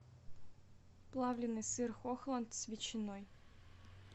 плавленный сыр хохланд с ветчиной